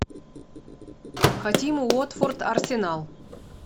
хотим уотфорд арсенал